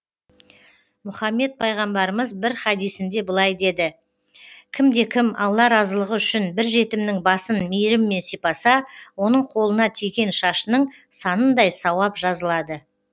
мұхаммед пайғамбарымыз бір хадисінде былай деді кімде кім алла разылығы үшін бір жетімнің басын мейіріммен сипаса оның қолына тиген шашының санындай сауап жазылады